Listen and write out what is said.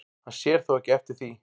Hann sér þó ekki eftir því